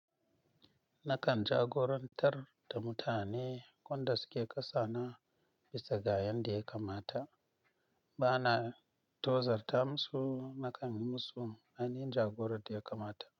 Nakan jagorantar da mutane wanda suke ƙasa na bisa ga yanda ya kamata. Bana tozar ta musu, nakan yi musu ainihin jagora da ya kamata.